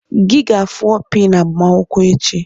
Gị ga-afụ opi na agbamakwụkwọ echi!